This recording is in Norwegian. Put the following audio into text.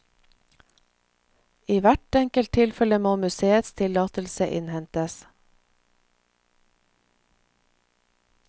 I hvert enkelt tilfelle må museets tillatelse innhentes.